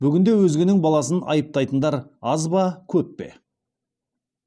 бүгінде өзгенің баласын айыптайтындар аз ба көп пе